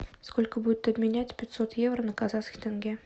сколько будет обменять пятьсот евро на казахский тенге